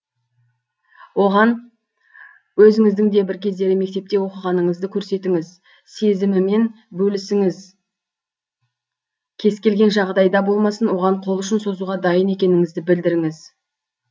оған өзіңіздің де бір кездері мектепте оқығаныңызды көрсетіңіз сезімімен бөлісіңіз кез келген жағдайда болмасын оған қол ұшын созуға дайын екеніңізді білдіріңіз